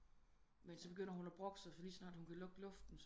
Men så begynder hun at brokke sig lige så snart hun begynder at kunne lugte luften